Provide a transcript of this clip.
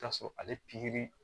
T'a sɔrɔ ale